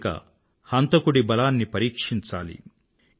ఇప్పుడిక హంతకుడి బలాన్ని పరీక్షించాలి